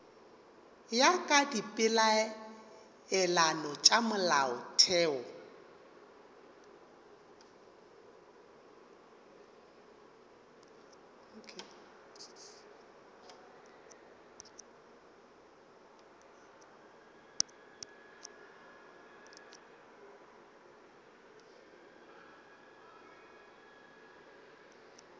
ya ka dipeelano tša molaotheo